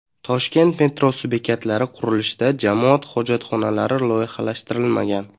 Toshkent metrosi bekatlari qurilishida jamoat hojatxonalari loyihalashtirilmagan.